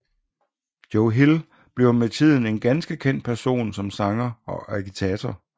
Joe Hill bliver med tiden en ganske kendt person som sanger og agitator